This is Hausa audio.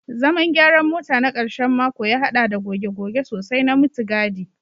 Zaman gyaran mota na karshen mako ya haɗa da goge-goge sosai na mutugadi